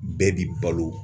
Bɛɛ b'i balo